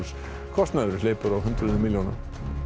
kostnaðurinn hleypur á hundruðum milljóna